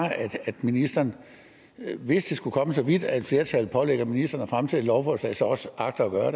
at ministeren hvis det skulle komme så vidt at et flertal pålægger ministeren at fremsætte et lovforslag så også agter at gøre